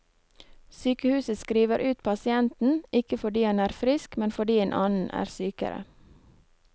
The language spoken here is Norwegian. Sykehuset skriver ut pasienten, ikke fordi han er frisk, men fordi en annen er sykere.